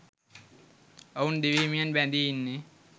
ඔවුන් දිවි හිමියෙන් බැඳී ඉන්නෙ